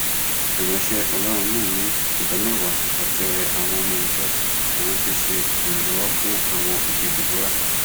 ìránṣẹ ọlọrun náà ní ìdámẹwàá àti ọrẹ àwọn ọmọ ìjọ làwọn fi ṣe ìrànlọwọ fún àwọn òbí deborah